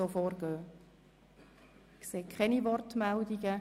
– Ich sehe keine Wortmeldungen.